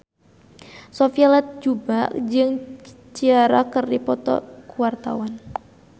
Sophia Latjuba jeung Ciara keur dipoto ku wartawan